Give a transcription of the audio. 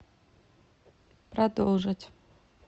продолжить